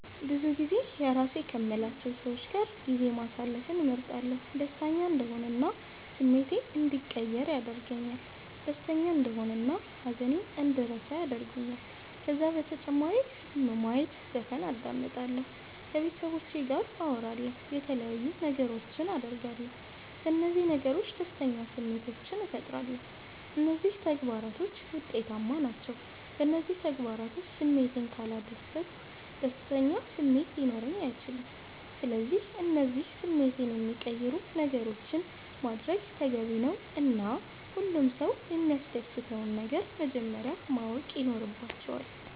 ብዙጊዜ የራሴ ከምላቸዉ ሰዎች ጋር ጊዜ ማሰለፍን እመርጣለሁ። ደሰተኛ እንድሆን እና ስሜቴ እንዲቀየር ያደርገኛል ደስተና እንደሆን ሃዘኔን እንድረሳ ያረጉኛል። ከዛ በተጨማሪ ፊልም ማየት ዘፈን አዳምጣለሁ። ከቤተሰቦቼ ጋር አወራለሁ የተለያዩ ነገሮች አደርጋለሁ። በነዚህ ነገሮች ደስተኛ ስሜቶችን ፈጥራለሁ። እነዚህ ተግባራቶች ዉጤታማ ናቸዉ። በእነዚህ ተግባራቶች ስሜቴን ካላደስኩ ደስተኛ ስሜት ሊኖረኝ አይችልም። ስለዚህ እነዚህን ስሜቴን የሚቀይሩ ነገሮችን ማድረግ ተገቢ ነዉ እና ሁሉም ሰዉ የሚያሰደስተዉን ነገር መጀመረያ ማወቅ ይኖረባቸዋል